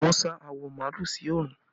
Wọn sá awọ màálù sí oòrùn